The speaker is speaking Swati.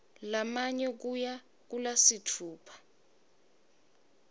lamane kuya kulasitfupha